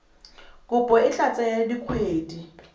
kopo e tla tsaya dikgwedi